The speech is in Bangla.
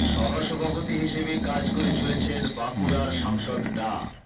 সহ সভাপতি হিসেবে কাজ করে চলেছেন বাঁকুড়ার সাংসদ ডা